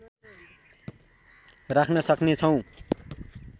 राख्न सक्ने छौँ